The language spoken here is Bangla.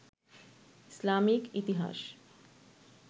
ইসলামিক ইতিহাস